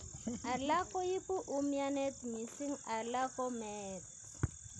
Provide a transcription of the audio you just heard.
Alak koibu umianet mising ala ko meet